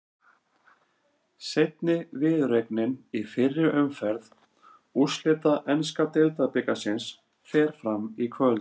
Seinni viðureignin í fyrri umferð úrslita enska deildabikarsins fer fram í kvöld.